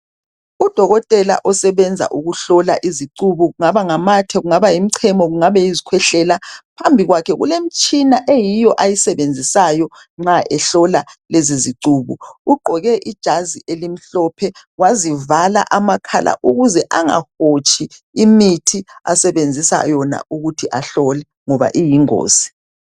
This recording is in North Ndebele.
Udokotela osebenza ukuhlola izicubu, kungaba ngamathe, kungaba yimichemo, kungabe yizikhwehlela. Phambi kwakhe kulemitshina, eyiyo ayisebenzisayo nxa ehlola lezizicubu. Ugqoke ijazi elimhlophe, wazivala amakhala, ukuze angahotshi imithi asebenzisa yona ukuthi ahlole, ngoba iyingozi.